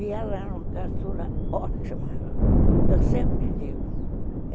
E ela era uma criatura ótima, eu sempre digo.